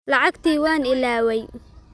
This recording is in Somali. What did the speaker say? Lacagtii waan ilaaway.